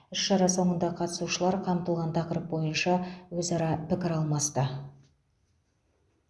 іс шара соңында қатысушылар қамтылған тақырып бойынша өзара пікір алмасты